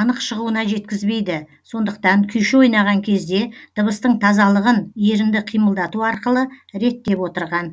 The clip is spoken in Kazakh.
анық шығуына жеткізбейді сондықтан күйші ойнаған кезде дыбыстың тазалығын ерінді қимылдату арқылы реттеп отырған